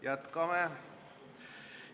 Jätkame!